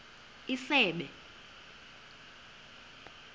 isebe